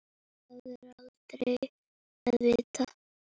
Það er aldrei að vita?